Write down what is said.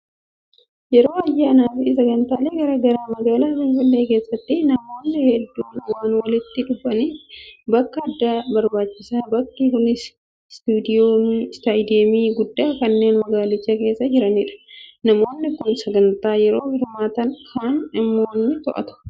Yeroo ayyaanaa fi sagantaalee garaagaraa magaalaa Finfinnee keessatti namoonni hedduun waan walitti dhufaniif bakka addaa barbaachisa. Bakki kunis istaadiyoomii guddaa kanneen magaalicha keessa jiranidha. Namoonni kaan sagantaa yoo hirmaatan kaan immoo ni to'atu.